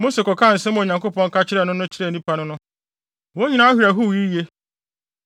Mose kɔkaa nsɛm a Onyankopɔn ka kyerɛɛ no no kyerɛɛ nnipa no no, wɔn nyinaa werɛ howee yiye.